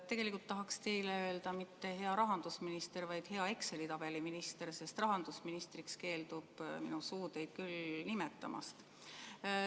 Tegelikult tahaksin teile öelda mitte "hea rahandusminister", vaid "hea Exceli tabeli minister", sest rahandusministriks keeldub minu suu teid küll nimetamast.